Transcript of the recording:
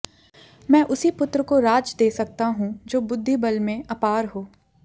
मैं उसी पुत्र को राज दे सकता हूं जो बुद्धि बल में अपार हो